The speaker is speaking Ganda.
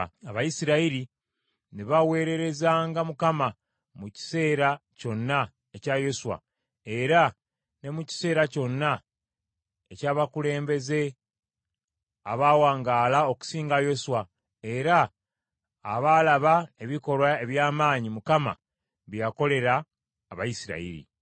Abayisirayiri ne baweerezanga Mukama mu kiseera kyonna ekya Yoswa era ne mu kiseera kyonna eky’abakulembeze abaawangaala okusinga Yoswa era abaalaba ebikolwa eby’amaanyi Mukama bye yakolera Abayisirayiri.